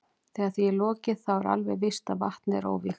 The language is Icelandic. Þegar því er lokið þá er alveg víst að vatnið er óvígt.